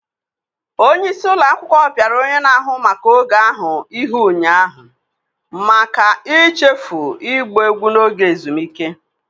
Onye isi ụlọ akwụkwọ piara onye na-ahụ maka oge ahụ ihe ụnyaahụ maka ichefu ịgba egwu n'oge ezumike.